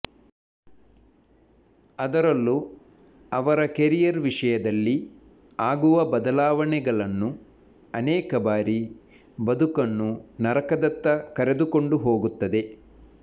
ಅದರಲ್ಲೂ ಅವರ ಕೆರಿಯರ್ ವಿಷಯದಲ್ಲಿ ಆಗುವ ಬದಲಾವಣೆಗಳನ್ನು ಅನೇಕ ಬಾರಿ ಬದುಕನ್ನು ನರಕದತ್ತ ಕರೆದುಕೊಂಡು ಹೋಗುತ್ತದೆ